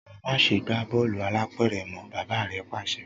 Máṣe gbà bọọlu álàpẹ̀rẹ̀ mọ! bàbà rẹ pàṣẹ.